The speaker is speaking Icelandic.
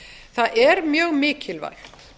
það er mjög mikilvægt